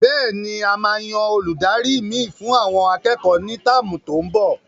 Bẹ́ẹ̀ni,a máa yan Olùdarí mi fún àwọn akẹ́kọ̀ọ́ ni táàmù tó n bò